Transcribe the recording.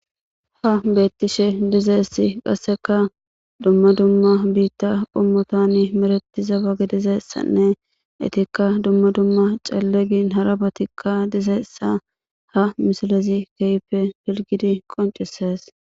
Ha betishe dizaysa qaseka dumma dumma bita qommotan medhetiza ba gidizaysanne etika dumma dumma cale gin hara batika de'izaysa ha misilezi kehipe pilgidi qoncisese